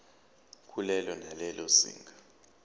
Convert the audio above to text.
kulelo nalelo zinga